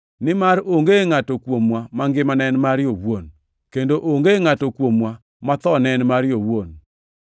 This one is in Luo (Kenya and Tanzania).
Nimar onge ngʼato kuomwa mangimane en mare owuon, kendo onge ngʼato kuomwa mathone en mare owuon.